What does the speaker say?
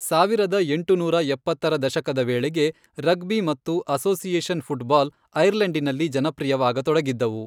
ಸಾವಿರದ ಎಂಟುನೂರ ಎಪ್ಪತ್ತರ ದಶಕದ ವೇಳೆಗೆ, ರಗ್ಬಿ ಮತ್ತು ಅಸೋಸಿಯೇಷನ್ ಫುಟ್ಬಾಲ್ ಐರ್ಲೆಂಡಿನಲ್ಲಿ ಜನಪ್ರಿಯವಾಗತೊಡಗಿದ್ದವು.